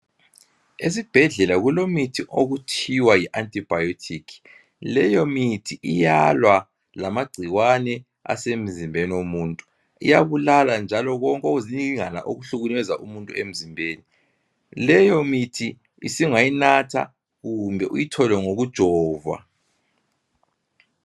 Esibhedlela kulomuthi okuthiwa Yi antibiotic leyo mithi iyalwa lamagcikwane asemzimbeni womuntu iyabulala njalo konke okuzininingwana okuhlukumeza umuntu leyo mithi usungayinatha kumbe uyithole ngokujovwa